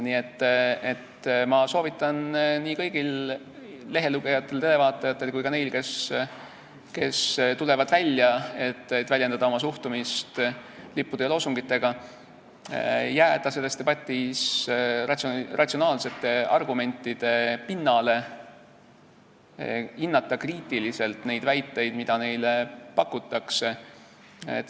Nii et ma soovitan kõigil lehelugejatel ja televaatajatel ja ka neil, kes tulevad välja, et väljendada oma suhtumist lippude ja loosungitega, jääda selles debatis ratsionaalsete argumentide pinnale, hinnata kriitiliselt neid väiteid, mida neile pakutakse.